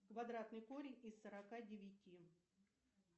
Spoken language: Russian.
квадратный корень из сорока девяти